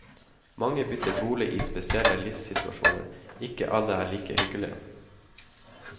Mange bytter bolig i spesielle livssituasjoner, ikke alle er like hyggelige.